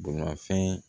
Bolimafɛn